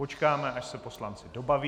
Počkáme, až se poslanci dobaví.